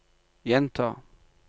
gjenta